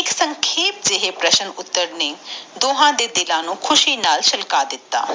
ਇਕ ਸੰਖੇਪਓ ਜਾਇ- ਪ੍ਰਸ਼ਨ ਉਤਾਰ ਨੇ ਓਹਨਾ ਦੇ ਦਿਲ ਨੂੰ ਖੁਸ਼ੀ ਨਾਲ ਫੁਲਕਾ ਦਿਤਾ